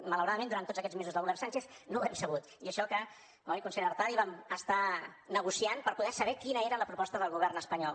malauradament durant tots aquests mesos del govern sánchez no ho hem sabut i això que oi consellera artadi vam estar negociant per poder saber quina era la proposta del govern espanyol